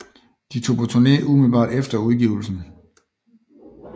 De tog på turné umiddelbart efter udgivelsen